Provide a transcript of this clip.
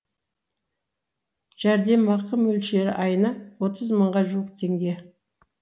жәрдемақы мөлшері айына отыз мыңға жуық теңге